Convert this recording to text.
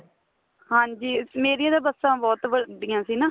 ਹਾਂਜੀ ਮੇਰੀਆਂ ਤਾਂ ਬੱਸਾ ਬਹੁਤ ਵਡੀਆ ਸੀ ਨਾ